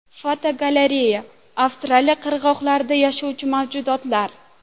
Fotogalereya: Avstraliya qirg‘oqlarida yashovchi mavjudotlar.